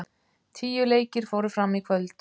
Tíu leikir fóru fram í kvöld